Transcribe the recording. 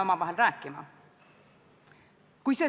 Ja ma kordan, et hääletus on väliskomisjonis väga tavatu juhtum.